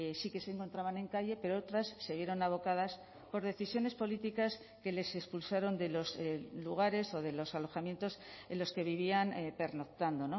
sí que se encontraban en calle pero otras siguieron abocadas por decisiones políticas que les expulsaron de los lugares o de los alojamientos en los que vivían pernoctando